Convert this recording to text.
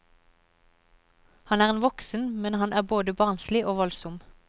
Han er en voksen, men han er både barnslig og voldsom.